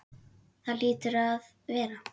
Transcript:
Það hlýtur að vera.